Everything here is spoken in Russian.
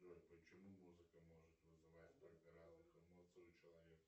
джой почему музыка может вызывать столько разных эмоций у человека